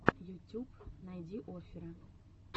ютюб найди оффера